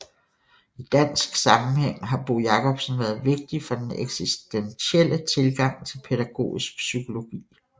I dansk sammenhæng har Bo Jacobsen været vigtig for den eksistentielle tilgang til pædagogisk psykologi